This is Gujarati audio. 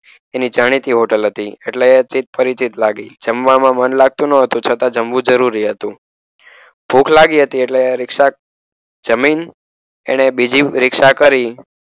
એની જાણીતી હોટલ હતી એટલે ચિત પરિચિત લાગે જમવામાં મન લાગતું ન હતું છતાં જમવું જરૂરી હતું. ભૂખ લાગી હતી. એટલે રીક્ષા જમીન અને બીજી રીક્ષા કરી.